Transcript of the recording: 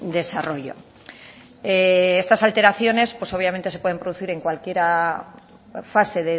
desarrollo estas alteraciones obviamente se pueden producir en cualquier fase